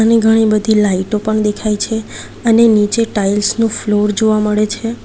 ને ઘણી બધી લાઈટો પણ દેખાય છે અને નીચે ટાઇલ્સ નું ફ્લોર જોવા મળે છે.